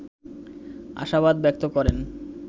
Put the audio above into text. আশাবাদ ব্যক্ত করেন